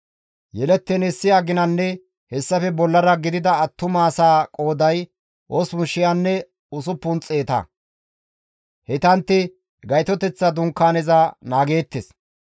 Yelettiin issi aginanne hessafe bollara gidida attumasaa qooday 8,600; heytantti Gaytoteththa dunkaaneza naageettes.